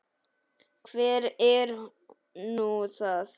Hver er nú það?